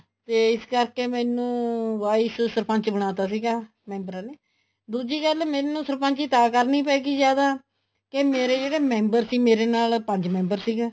ਤੇ ਇਸ ਕਰਕੇ ਮੈਨੂੰ wise ਸਰਪੰਚ ਬਣਾ ਤਾਂ ਸੀਗਾ ਮੈਬਰਾਂ ਨੇ ਦੂਜੀ ਗੱਲ ਮੈਨੂੰ ਸਰਪੰਚੀ ਤਾਂ ਕਰਨੀ ਪੈ ਗਈ ਜਿਆਦਾ ਕੇ ਮੇਰੇ ਜਿਹੜੇ member ਸੀ ਮੇਰੇ ਨਾਲ ਪੰਜ member ਸੀਗੇ